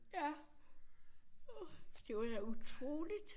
Ja åh det var da utroligt